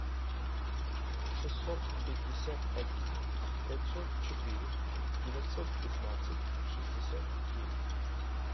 шестьсот пятьдесят один пятьсот четыре девятьсот пятнадцать шестьдесят девять